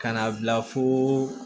Ka na bila foo